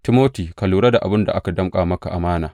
Timoti, ka lura da abin da aka danƙa maka amana.